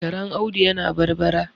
Karen Audu yana barbara